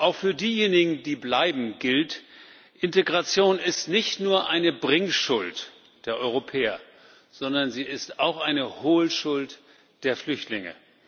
Auch für diejenigen, die bleiben, gilt Integration ist nicht nur eine Bringschuld der Europäer, sondern sie ist auch eine Holschuld der Flüchtlinge.